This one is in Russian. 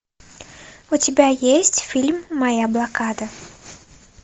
у тебя есть фильм моя блокада